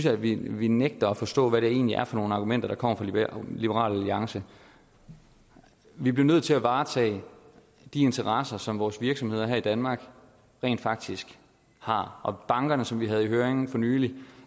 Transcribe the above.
at vi vi nægter at forstå hvad det egentlig er for nogen argumenter der kommer fra liberal alliance vi bliver nødt til at varetage de interesser som vores virksomheder her i danmark rent faktisk har om bankerne som vi havde i høring for nylig vil